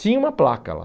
Tinha uma placa lá.